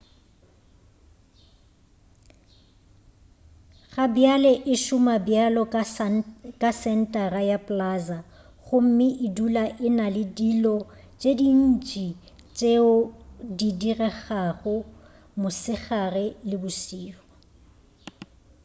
gabjale e šoma bjalo ka sentara ya plaza gomme e dula e na le dilo tše dintši tšeo di diregago mosegare le bošego